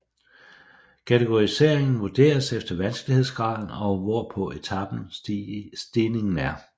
Kategoriseringen vurderes efter vanskelighedsgraden og hvor på etapen stigningen er